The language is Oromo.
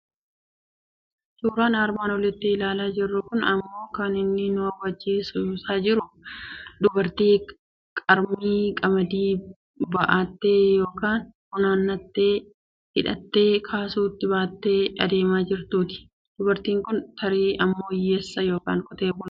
Suuraan armaan olitti ilaalaa jirru kun immoo kan inni nu hubachiisaa jiru dubartii qarmii qamadii bu'attee yookiin funaannattee, hidhattee kaasuutti baattee adeemaa jirtuuti. Dubartiin kun tarii ilmoo hiyyeessaa yookiin qotee bulaati.